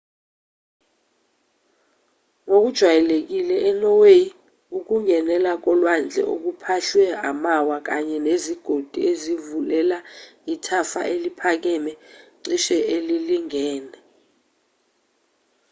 ngokujwayelekile enorway ukungenela kolwandle okuphahlwe amawa kanye nezigodi ezivulela ithafa eliphakeme cishe elilingene